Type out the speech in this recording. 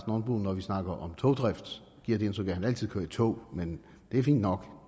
nonbo når vi snakker om togdrift giver det indtryk at han altid kører i tog men det er fint nok